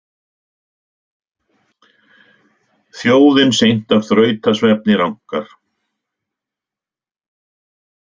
Þjóðin seint af þrautasvefni rankar.